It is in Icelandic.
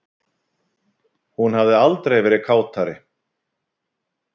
Hún hafi aldrei verið kátari